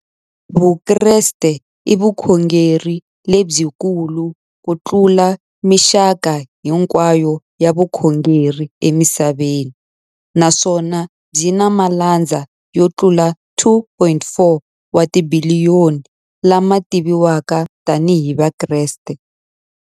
Vukreste i vukhongeri lebyi kulu kutlula mixaka hinkwayo ya vukhongeri emisaveni, naswona byi na malandza yo tlula 2.4 wa tibiliyoni, la ma tiviwaka tani hi Vakreste.